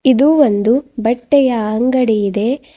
ಇದು ಒಂದು ಬಟ್ಟೆಯ ಅಂಗಡಿ ಇದೆ.